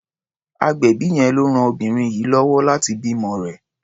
Agbẹ̀bí yẹn ló ran obìnrin yìí lọ́wọ́ láti bímọ rẹ̀.